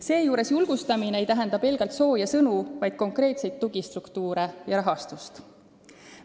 Seejuures julgustamine ei tähenda pelgalt sooje sõnu, vaid konkreetseid tugistruktuure ja rahastust.